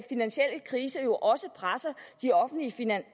finansielle krise jo også presser de offentlige finanser